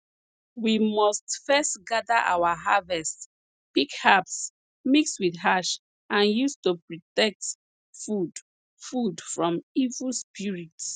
we must first gather our harvest pick herbs mix with ash and use to protect food food from evil spirits